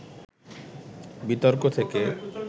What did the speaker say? বিতর্ক থেকে